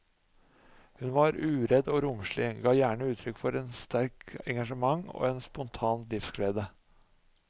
Hun var uredd og romslig, ga gjerne uttrykk for et sterkt engasjement og en spontan livsglede.